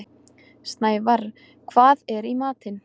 Snævarr, hvað er í matinn?